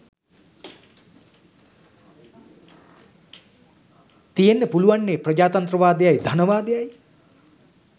තියෙන්න පුළුවන්නෙ ප්‍රජාතන්ත්‍රවාදයයි ධනවාදයි